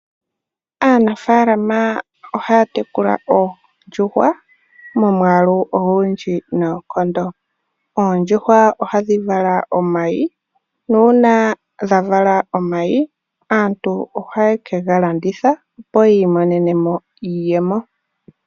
Aanafaalama ohaya tekula oondjuhwa momwaalu ogundji noonkondo. Oondjuhwa oha dhi vala omayi, nuuna dha vala omayi aantu oha ye ke ga landitha, opo yi imonene mo iiyemo.